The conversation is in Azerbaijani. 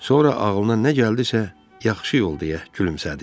Sonra ağlına nə gəldisə, yaxşı yol deyə gülümsədi.